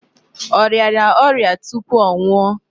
Ọ rịara ọrịa tupu ọ nwuọ?